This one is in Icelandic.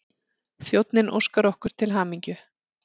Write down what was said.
Þjónninn óskar okkur til hamingju.